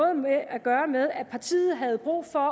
at gøre med at partiet havde brug for